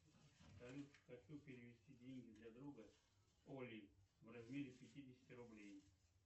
салют хочу перевести деньги для друга оли в размере пятидесяти рублей